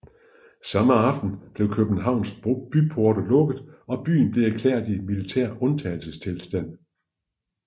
Samme aften blev Københavns byporte lukket og byen blev erklæret i militær undtagelsestilstand